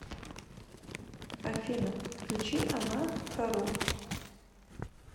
афина включи она хару